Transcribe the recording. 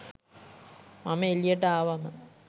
මම එළියට ආවම